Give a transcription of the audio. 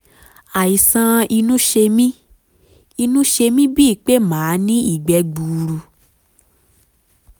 àìsàn inú ṣe mí inú ṣe mí bíi pé màá ní ìgbẹ́ gbuuru